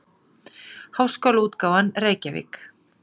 Háskólaútgáfan, Reykjavík.